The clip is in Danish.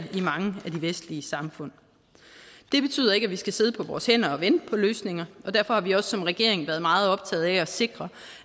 i mange af de vestlige samfund det betyder ikke vi skal sidde på vores hænder og vente på løsninger og derfor har vi også som regering været meget optaget af at sikre